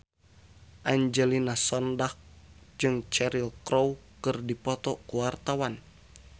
Angelina Sondakh jeung Cheryl Crow keur dipoto ku wartawan